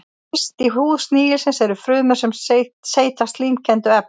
Yst í húð snigilsins eru frumur sem seyta slímkenndu efni.